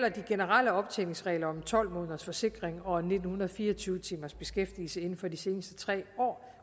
at de generelle optjeningsregler om tolv måneders forsikring og nitten fire og tyve timers beskæftigelse inden for de seneste tre år